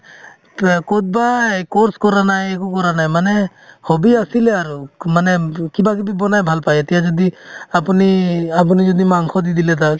ক'ত বা এই course কৰা নাই একো কৰা নাই মানে hobby আছিলে আৰু মানে কিবা যদি বনাই ভাল পাই এতিয়া যদি আপুনি~ আপুনি যদি মাংস দি দিলে তাক